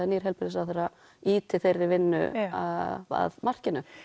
nýr heilbrigðisráðherra ýti þeirri vinnu að markinu